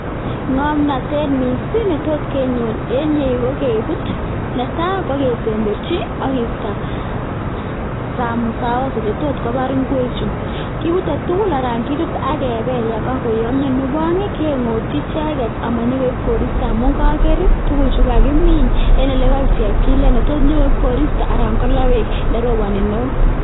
Ng'omnotet missing netot kenyor en yu kokebut, netai kokesemberchi akisto saos chetotkobar ngwek chu. Kibute tugul anan kitut akebel yon ko koyomyo, nebo oeng' keng'otyi icheket amonyokoi koristo amun koker tuguchu kokakimin en ele koik chepkilet ele tot koib koristo anan kotot kolaa beek ndo roponi neo.